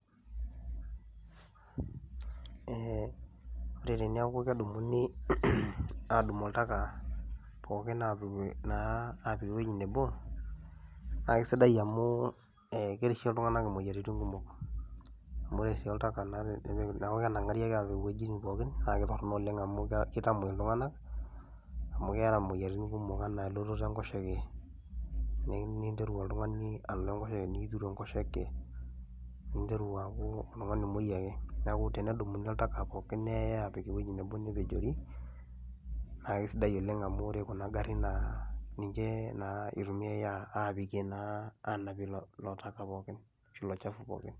ore teneeku kedumuni aadumu oltaka, pookin apik naa apik ewuei nebo na kisidai amu kerishe iltunganak imoyiaritin kumok. amu ore oltaka naa teneeku kenangari ake aapik iwueji pooki naa kitorono oleng amu kitamuoi kitamuoi iltungank. amu keeta imoyiaritin kumok ana elototo enkoshoke, nikinteru oltungani aning enkoshoke, nikitiru enkoshoke, ninteru aku oltungani omuoi ake. neeku tenedumuni oltaka pookin neyae aapik ewueji nebo nepejori naa kisidai oleng amu ore kuna garin naa ninche naa itumiae aapikie naa aanapie ilo taka pokinashu ilo shafu pookin.